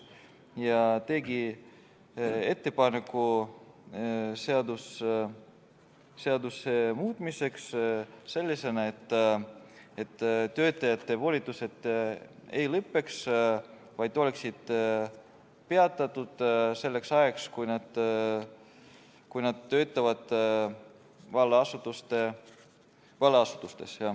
Riigikohus tegi ettepaneku seaduse muutmiseks, et töötajate volitused ei lõpeks, vaid oleksid peatatud selleks ajaks, kui nad valla asutuses töötavad.